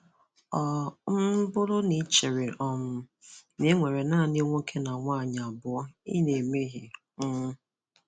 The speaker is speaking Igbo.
Ọ um bụrụ na ị chere um na e nwere naanị nwoke na nwanyị abụọ ị na-emehie. um